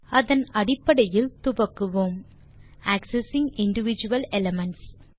அதன் அடிப்படையில் துவங்குவோம் ஆக்செஸிங் இண்டிவிடுவல் எலிமென்ட்ஸ்